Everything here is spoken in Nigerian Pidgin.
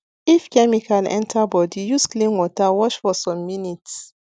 if chemical enter body use clean water wash for some minutes